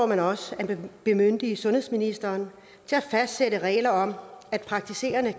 man også at bemyndige sundhedsministeren til at fastsætte regler om at praktiserende